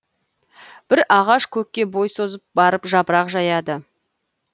бір ағаш көкке бой созып барып жапырақ жаяды